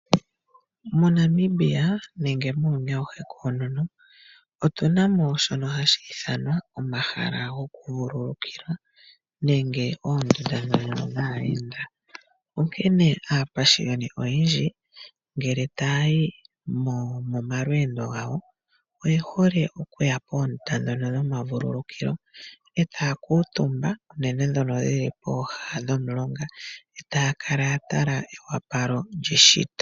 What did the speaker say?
MoNamibia nenge muuyuni awuhe koonono otuna mo shono hashi ithanwa omahala gomavululukilo nenge oondunda dhono dhaayenda, onkene aapashiyoni oyendji ngele taayi momalweendo gawo oyehole okuya poondunda dhono dhomavulukilo etaa kuutumba nenge dhono dhili pooha nomulonga etaya kala yatala ewapalo lyeshito.